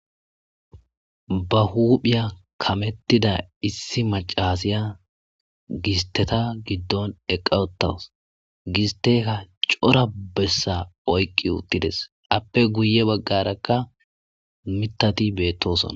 ba huphiya kamettida issi macasiya gisteta giddon eqqawotaws gisteka cora bessa oyqqi uttides appe guye baggarakka mitati beettosona